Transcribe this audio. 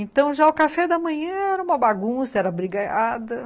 Então, já o café da manhã era uma bagunça, era brigalhada .